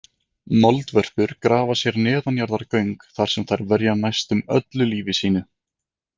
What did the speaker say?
Moldvörpur grafa sér neðanjarðargöng þar sem þær verja næstum öllu lífi sínu.